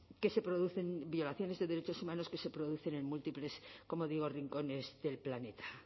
que se producen violaciones de derechos humanos que se producen en múltiples como digo rincones del planeta